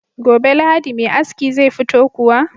Gobe lahadi Me aski zai fito kuwa?